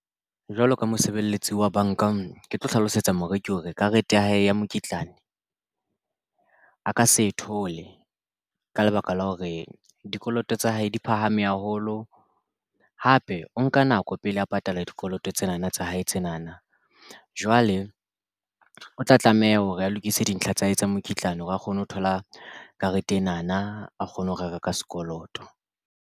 Jwalo ka mosebeletsi wa bank-a ke tlo hlalosetsa moreki hore karete ya hae ya mokitlane a ka se e thole ka lebaka la hore dikoloto tsa hae di phahame haholo. Hape o nka nako pele a patala dikoloto tsena na tsa hae tsena na jwale o tla tlameha hore a lokise dintlha tsa hae tsa mokitlane a kgone ho thola karete ena na a kgone ho reka ka sekoloto.